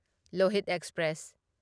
Lohit express